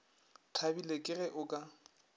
thabile ke ge o ka